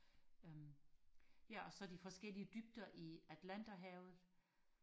øhm ja og så de forskellige dybder i atlanterhavet